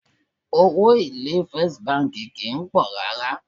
Owó èlé bánkì First kìí pọ̀ rárá.